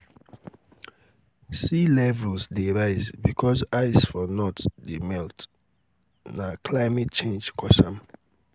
sea levels dey rise becos ice for um north dey melt na climate change cos am um